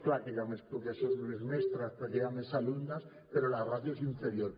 clar que hi ha més professors i més mestres perquè hi ha més alumnes però la ràtio és inferior